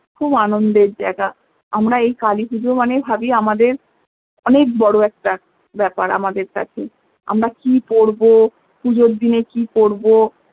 খুব আনন্দের জায়গা আমরা এই কালী পুজো মানে ভাবী আমাদের অনেক বড় একটা ব্যাপার আমাদের কাছে আমরা কি পরবো পুজোর দিনে কি করবো